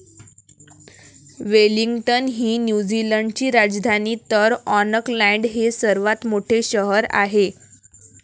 Wellington ही New Zealand ची राजधानी तर आॅकलॅंड हे सर्वात मोठे शहर आहे.